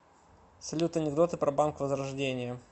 салют анекдоты про банк возрождение